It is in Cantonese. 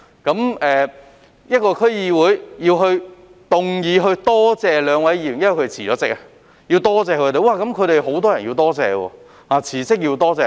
如果區議會要動議感謝這兩名已辭職的議員，便有很多人也需要感謝。